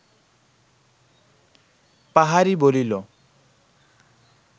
পাহাড়ী বলিল